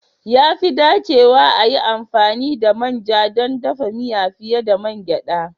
Ya fi dacewa a yi amfani da manja don dafa miya fiye da mangeda